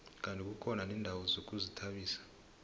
kandi kukhona neendawo zokuzithabisa